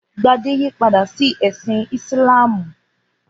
Gbadé yípadà sí ẹ̀sìn Ìsìlámù?